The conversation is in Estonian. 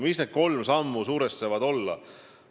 Mis need kolm sammu saavad olla?